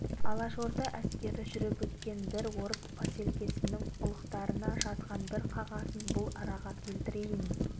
алашорда әскері жүріп өткен бір орыс поселкесінің ұлықтарына жазған бір қағазын бұл араға келтірейін